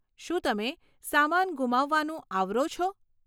શું તમે સામાન ગુમાવવાનું આવરો છો?